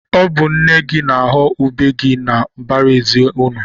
Ọ bụ nne gị na-aghọ ube gị na mbaraezi unu.